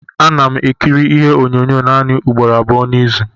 Ana m ekiri ihe onyonyo m naanị ugboro abụọ n'izu.